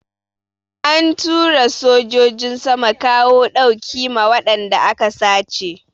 An tura sojojin sama kawo ɗauki ma wadanda aka sace.